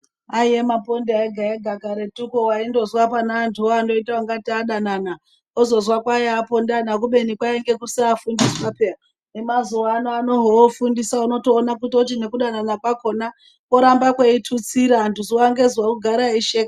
Aiye maponda ega ega karetuko waindozwa pane antuwo anoita ngatei adanana ozozwa kwai apondana kubeini kwainge kusafundiswa peya , emazuwano ofundisa unotoona kuti nekudanan kwakona kworamba kweitutsira , Antu zuwa ngezuwa ogara eisheka.